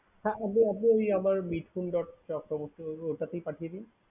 Minthun. chakarabarty ওটাতেই পাঠিয়ে দিন